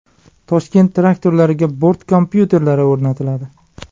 Toshkent traktorlariga bort kompyuterlari o‘rnatiladi.